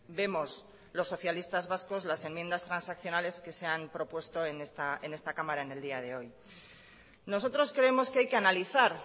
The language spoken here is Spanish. vemos los socialistas vascos las enmiendas transaccionales que se han propuesto en esta cámara en el día de hoy nosotros creemos que hay que analizar